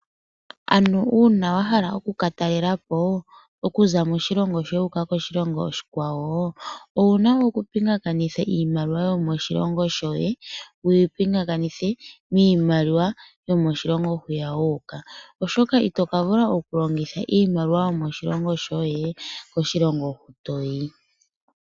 Uuna wa hala oku katalelapo okuza moshilongo shoye wuuka koshilongo oshikwawo tango owuna okupingakanitha iimaliwa yomoshilongo shoye noyomoshilongo moka wuuka oshoka itoka vula okuyilongitha iimaliwa yomoshilongo shoye koshilongo hoka toyi.